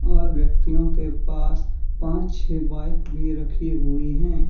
और व्यक्तियों के पास पांच छे बाइक भी रखी हुयी है।